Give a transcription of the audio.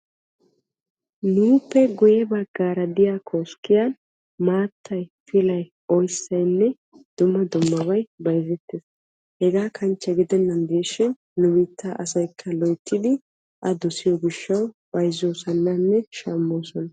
nuuppe guye bagaara diya koskkiyan maattay, pilay, oyssaynne dumma dummabay bayzzetees. hegaa kanchche gidennan diishshin nu biittaa asaykka loyttidi a dossiyo gishawu bayzzoosonanne shamoosona.